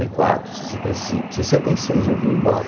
e quatro, sessenta e cinco, sessenta e seis eu vim embora.